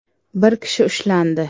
Bir kishi ushlandi.